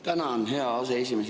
Tänan, hea aseesimees!